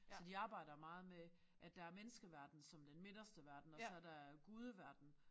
Så de arbejder meget med at der er menneskeverden som den midterste verden og så der øh gudeverden